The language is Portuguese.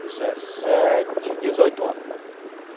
Dezessete, dezoito anos.